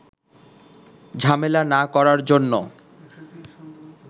ঝামেলা না করার জন্য